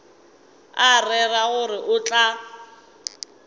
a rera gore o tla